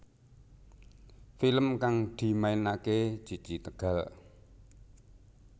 Film kang dimainake Cici Tegal